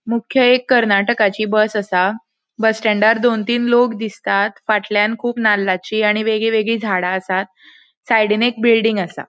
मुख्य एक कर्नाटकाची बस असा. बस स्टेण्डार दोन तीन लोग दिसतात फाटल्यान कुब नाल्लाची आणि वेगी वेगी झाडा असात सायडीन एक बिल्डिंग असा.